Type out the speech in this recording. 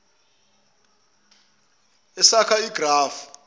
ese akha igrafu